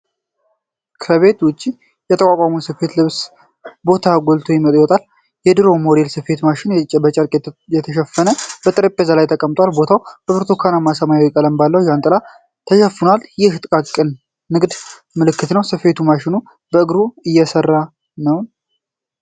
ከቤት ውጭ የተቋቋመ ስፌት (ልብስ ስፌት) ቦታ ጎልቶ ይወጣል። የድሮ ሞዴል ስፌት ማሽን በጨርቅ በተሸፈነ ጠረጴዛ ላይ ተቀምጧል። ቦታው በብርቱካናማና ሰማያዊ ቀለም ባለው ዣንጥላ ተሸፍኗል፤ ይህም የጥቃቅን ንግድ ምልክት ነው። ስፌት ማሽኑ በእግር የሚሠራ ነው ?